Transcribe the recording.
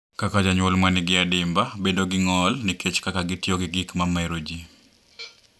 Kaka janyuol ma nigi adimba bedo gi ng’ol nikech kaka gitiyo gi gik ma mero ji.